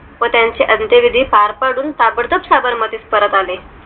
व त्यांचे अंत्यविधी पार पडून आपण साबरमती परत आले